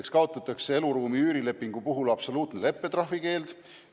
Esiteks kaotatakse eluruumi üürilepingu puhul absoluutne leppetrahvi keeld.